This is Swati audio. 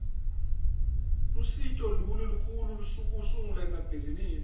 lusito luni lolukhona kusungula ibhizimisi